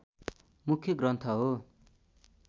मुख्य ग्रन्थ हो